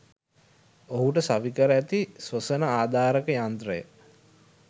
ඔහුට සවි කර ඇති ස්වසන ආධාරක යන්ත්‍රය